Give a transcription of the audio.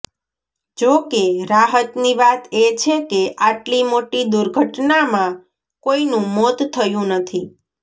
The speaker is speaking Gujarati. જો કે રાહતની વાત એ છે કે આટલી મોટી દુર્ઘટનામાં કોઇનું મોત થયું નથી